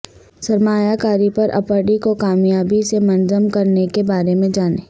سرمایہ کاری پراپرٹی کو کامیابی سے منظم کرنے کے بارے میں جانیں